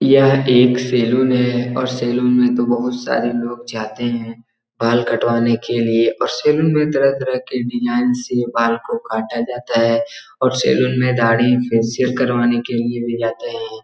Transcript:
यह एक सैलून है और सैलून में तो बहोत सारे लोग जाते है बाल कटवाने के लिए और सैलून में तरह-तरह के डिजाइन से बाल को काटा जाता है और सैलून में दाढ़ी फेशियल करवाने के लिए भी जाते है।